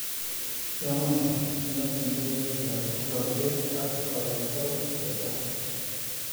Yamunee, iakte kepepaik ap ingokchet ang kayaktaik keta.